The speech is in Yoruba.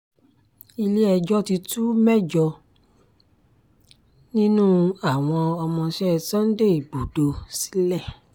ilé-ẹjọ́ ti tú mẹ́jọ nínú àwọn ọmọọṣẹ́ sunday igbodò sílẹ̀